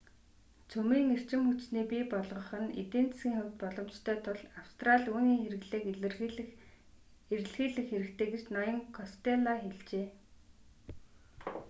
цөмийн эрчим хүчний бий болгох нь эдийн засгийн хувьд боломжтой тул австрали үүний хэрэглээг эрэлхийлэх хэрэгтэй гэж ноён костелло хэлжээ